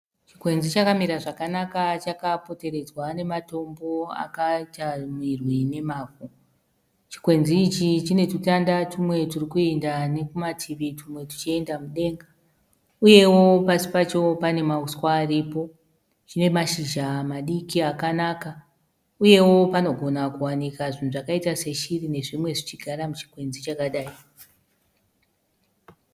Chikwenzi chakamira zvakanaka chakapoteredzwa namatombo akaita mirwi nemavhu. Chikwenzi ichi chine tutanda twumwe turi kuenda nekumativi twumwe tuchienda mudenga. Uyewo pasi pacho pane mauswa aripo uye panogona kuwanikwa zvinhu zvakita seshiri nezvimwe zvichiwanikwa panzvimbo dzakadai.